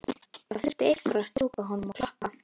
Það þurfti einhver að strjúka honum og klappa.